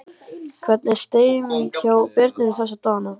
Hvernig er stemningin hjá Birninum þessa dagana?